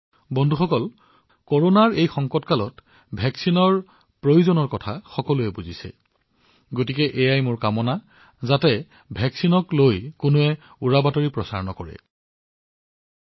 বন্ধুসকল যিহেতু কৰোনাৰ এই সংকটৰ সময়ছোৱাত প্ৰতিষেধকৰ গুৰুত্ব সকলোৱে জানে মই আপোনালোকক প্ৰতিষেধকৰ বিষয়ে কোনো উৰাবাতৰিত ভোল নাযাবলৈ অনুৰোধ জনাইছো